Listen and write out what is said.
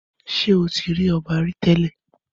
Ṣé ó tí rí ọba rí télè?